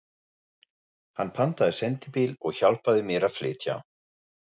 Hann pantaði sendibíl og hjálpaði mér að flytja.